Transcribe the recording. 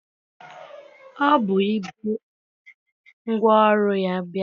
O bu igbe ngwaọrụ ya bịa.